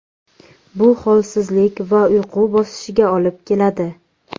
Bu holsizlik va uyqu bosishiga olib keladi.